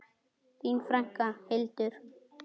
Þín frænka, Hildur.